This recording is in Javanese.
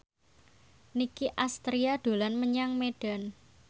Nicky Astria dolan menyang Medan